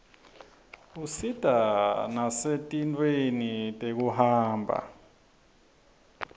usita nasetintfweni tekuhamba